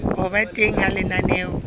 ho ba teng ha lenaneo